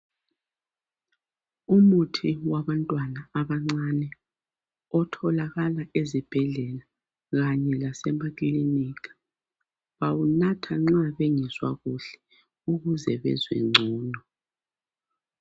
Umuthi wabantwana abancane otholakala ezibhedlela kanye lasemakilinika bawunatha nxa bengezwakahle ukuze bezwengcono